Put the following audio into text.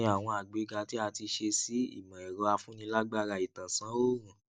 kí ni àwọn àgbéga tí a ti ṣe sí ìmọẹrọafúnilágbára ìtànsán òorùn